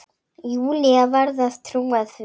Júlía varð að trúa því.